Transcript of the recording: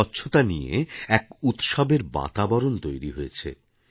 স্বচ্ছতা নিয়ে এক উৎসবের বাতাবরণ তৈরি হয়েছে